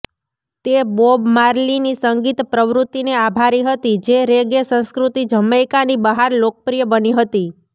તે બોબ માર્લીની સંગીત પ્રવૃત્તિને આભારી હતી જે રેગે સંસ્કૃતિ જમૈકાની બહાર લોકપ્રિય બની હતી